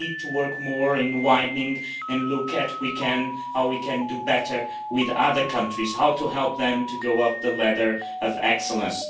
We need to work more in widening and look at how we can do better with other countries, how to help them to go up the ladder of excellence.